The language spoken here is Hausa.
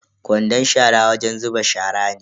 Kwandon shara wajen zuba shara ne.